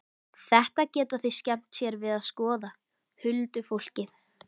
Þetta geta þau skemmt sér við að skoða, huldufólkið.